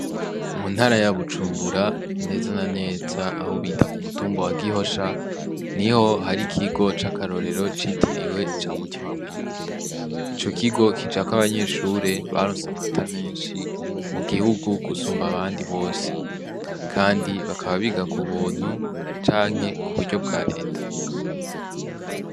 Mu ntara ya Bujumbura neza na neza aho bita ku mutumba wa Gihosha niho hari ikigo ca karorero citiriwe ca Mutima mweranda ico kigo kijako abanyeshuri baronse amanota meshi mu gihugu gusumba abandi bose kandi bakaba biga ku buntu canke bwa reta.